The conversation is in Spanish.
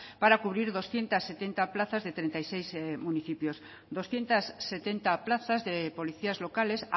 para cubrir doscientos setenta plazas de treinta y seis municipios doscientos setenta plazas de policías locales